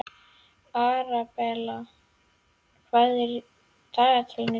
Arabella, hvað er í dagatalinu í dag?